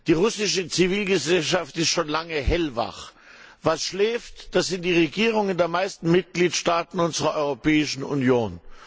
Die russische Zivilgesellschaft ist schon lange hellwach. Wer schläft, das sind die Regierungen der meisten Mitgliedstaaten unserer Europäischen Union.